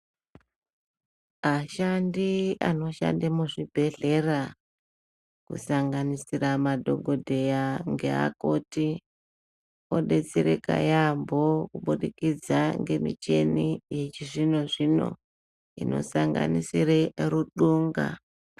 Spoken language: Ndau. Ashandi anoshande muzvibhedhlera, kusanganisira madhokodheya ngeakoti, odetsereka yaampho, kubudikidza ngemicheni yechizvino-zvino, inosanganisire ruxunga.